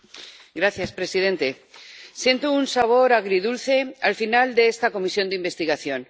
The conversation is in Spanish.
Señor presidente. Siento un sabor agridulce, al final de esta comisión de investigación.